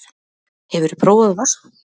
Hefurðu prófað vatnsrúm?